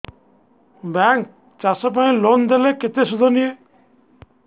bank ଚାଷ ପାଇଁ loan ଦେଲେ କେତେ ସୁଧ ନିଏ